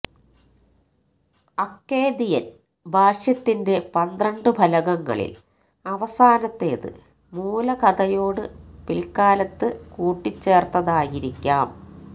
അക്കേദിയന് ഭാഷ്യത്തിന്റെ പന്ത്രണ്ടു ഫലകങ്ങളില് അവസാനത്തേത് മൂലകഥയോട് പില്ക്കാലത്ത് കൂട്ടിച്ചേര്ത്തതായിരിക്കാം